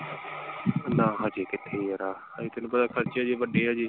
ਨਾ ਹਜੇ ਕਿਥੇ ਯਾਰਾ ਹਜੇ ਤੈਨੂੰ ਪਤਾ ਖਰਚੇ ਅਜੇ ਵੱਡੇ ਹਜੇ।